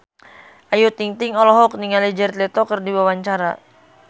Ayu Ting-ting olohok ningali Jared Leto keur diwawancara